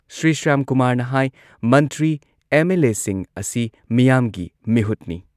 ꯁ꯭ꯔꯤ ꯁ꯭ꯌꯥꯝꯀꯨꯃꯥꯔꯅ ꯍꯥꯏ ꯃꯟꯇ꯭ꯔꯤ ꯑꯦꯝ.ꯑꯦꯜ.ꯑꯦꯁꯤꯡ ꯑꯁꯤ ꯃꯤꯌꯥꯝꯒꯤ ꯃꯤꯍꯨꯠꯅꯤ꯫